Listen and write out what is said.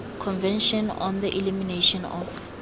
convention on the elimination of